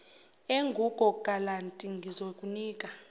engugo galanti ngizokunika